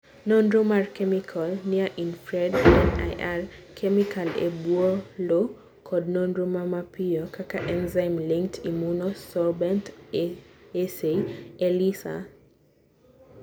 Nonro mar kemikal: Near Infrared (NIR), kemikal e bwo lowo kod nonro ma mapiyo kaka enzyme-linked immunosorbent assay (ELISA)